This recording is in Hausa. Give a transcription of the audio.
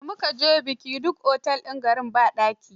Da mu ka je bikin, duk otel din garin ba daki.